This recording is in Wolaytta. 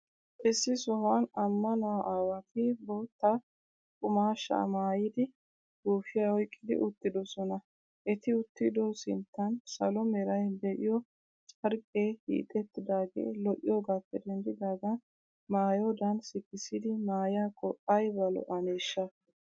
Issi sohuwan ammanuwaa aawati bootta qumaashshaa maayidi, guufiyaa oyqqidi uttidoosona. Eti uttido sinttan salo meray de'iyoo carqqee hiixettidaagee lo'iyoogaappe denddidaagan maayodan sikssidi maayiyaakko ayba lo'aneeshsha?